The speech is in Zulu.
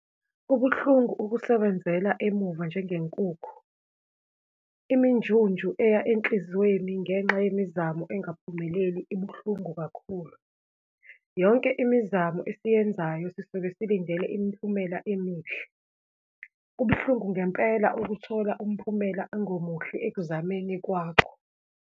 Kubuhlungu ukusebenzela emuva njengenkukhu. Iminjunju eya enhliziyweni ngenxa yemizamo engaphumeleli, ibuhlungu kakhulu. Yonke imizamo esiyenzayo sisuke silindele imiphumela emihle. Kubuhlungu ngempela ukuthola umphumela ongemuhle ekuzameni kwakho.